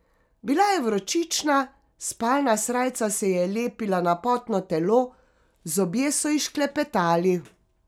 Bila je vročična, spalna srajca se ji je lepila na potno telo, zobje so ji šklepetali.